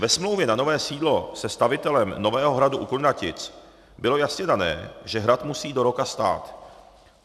Ve smlouvě na nové sídlo se stavitelem nového hradu u Kunratic bylo jasně dáno, že hrad musí do roka stát.